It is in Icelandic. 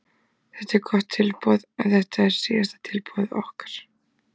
Þetta er gott tilboð en þetta er síðasta tilboð okkar.